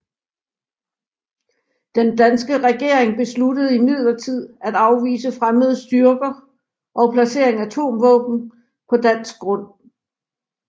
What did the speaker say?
Den danske regering besluttede imidlertid at afvise fremmede styrker og placering af atomvåben på dansk grund i fredstid